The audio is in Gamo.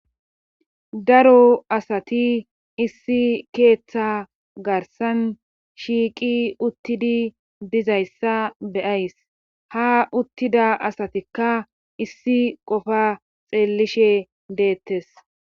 Daro asati issi keeththa garsan shiiqi uttidi dizayssa beyays ha uttida asatikka issi qofa xeellishe deettes.